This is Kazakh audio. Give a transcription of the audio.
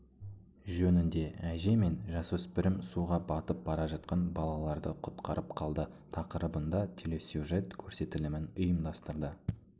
жөнінде әже мен жасөспірім суға батып бара жатқан балаларды құтқарып қалды тақырыбында телесюжет көрсетілімін ұйымдастырды